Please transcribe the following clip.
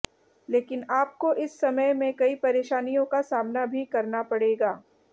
लेकिन आपको इस समय में कई परेशानियों का सामना भी करना पड़ेगा